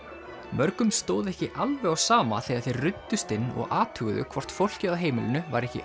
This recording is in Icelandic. mörgum stóð ekki alveg á sama þegar þeir ruddust inn og athuguðu hvort fólkið á heimilinu væri ekki